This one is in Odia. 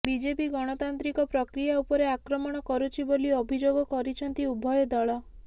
ବିଜେପି ଗଣତାନ୍ତ୍ରିକ ପ୍ରକ୍ରିୟା ଉପରେ ଆକ୍ରମଣ କରୁଛି ବୋଲି ଅଭିଯୋଗ କରିଛନ୍ତି ଉଭୟ ଦଳ